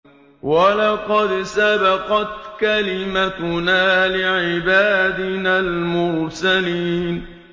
وَلَقَدْ سَبَقَتْ كَلِمَتُنَا لِعِبَادِنَا الْمُرْسَلِينَ